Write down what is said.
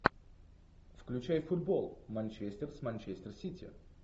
включай футбол манчестер с манчестер сити